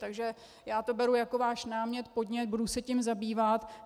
Takže já to beru jako váš námět, podnět, budu se tím zabývat.